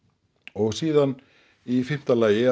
og síðan í fimmta lagi